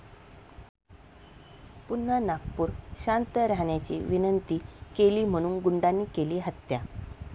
पुन्हा नागपूर!, शांत राहण्याची विनंती केली म्हणून गुंडांनी केली हत्या